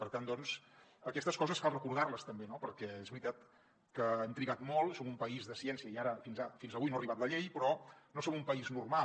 per tant doncs aquestes coses cal recordar les també no perquè és veritat que hem trigat molt som un país de ciència i ara fins avui no ha arribat la llei però no som un país normal